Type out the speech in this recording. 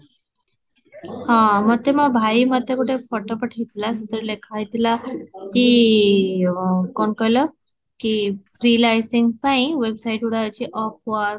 ହିଂମାଟେ ମୂ ଭାଇ ମତେ ଗୋଟେ photo ପଠେଇଥିଲା ସେଥରେ ଲେଖା ହେଇ ଥିଲଲା କି କଣ କହିଲ, କି freelancing ପାଇଁ ୱେବ୍ସାଇଟ ଗୁରା ଅଛି of